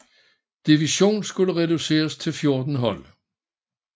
Divison skulle reduceres til 14 hold